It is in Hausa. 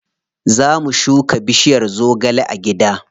Za mu shuka bishiyar zogale a gida.